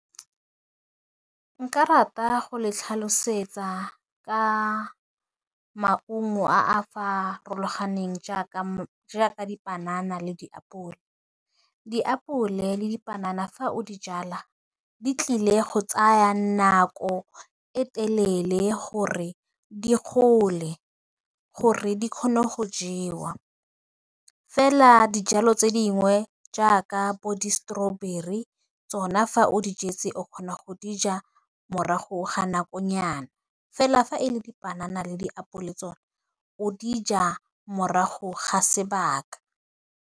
Ke rata go le tlhalosetsa ka maungo a a farologaneng jaaka jaaka dipanana le diapole. Diapole le dipanana fa o di jala, di tlile go tsaya nako e telele gore di gole gore di kgone go jewa, fela dijalo tse dingwe jaaka bo distrawberry, tsona fa o di jetse o kgona go dija morago ga nakonyana fela, fa e le dipanana le diapole tsona, o dija morago ga sebaka.